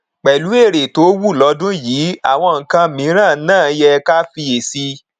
pẹlú èrè tó wúlọdún yìí àwọn nkan mìíràn náà yẹ ká fiyèsí